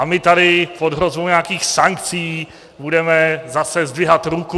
A my tady pod hrozbou nějakých sankcí budeme zase zdvihat ruku.